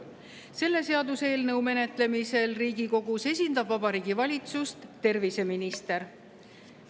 Selle seaduseelnõu menetlemisel Riigikogus esindab Vabariigi Valitsust terviseminister.